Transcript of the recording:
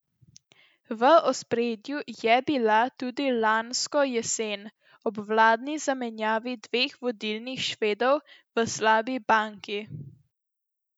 V ospredju je bila tudi lansko jesen, ob vladni zamenjavi dveh vodilnih Švedov v slabi banki.